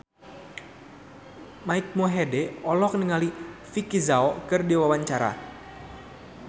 Mike Mohede olohok ningali Vicki Zao keur diwawancara